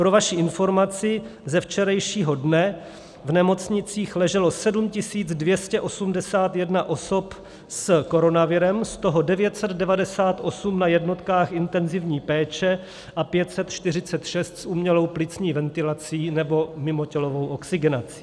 Pro vaši informaci ze včerejšího dne: v nemocnicích leželo 7 281 osob s koronavirem, z toho 998 na jednotkách intenzivní péče a 546 s umělou plicní ventilací nebo mimotělovou oxygenací.